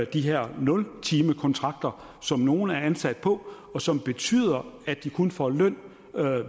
de her nultimekontrakter som nogle er ansat på og som betyder at de kun får løn